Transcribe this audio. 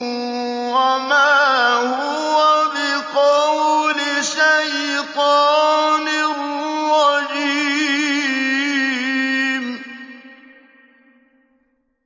وَمَا هُوَ بِقَوْلِ شَيْطَانٍ رَّجِيمٍ